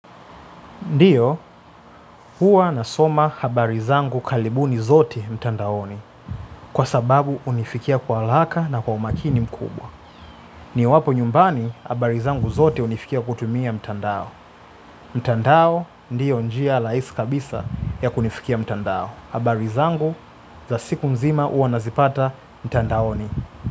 Ndiyo, huwa nasoma habari zangu karibu zote mtandaoni, kwa sababu hunifikia haraka na kwa umakini mkubwa. Ni wapo nyumbani, habari zangu zote hunifikia kutumia mtandao. Mtandao, ndiyo njia rahisi kabisa ya kunifikia mtandao. Habari zangu, za siku nzima huwa nazipata mtandaoni.